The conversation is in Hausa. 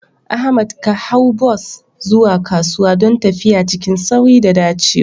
Ahmad ka hau bas zuwa kasuwa don tafiya cikin sauri da dacewa.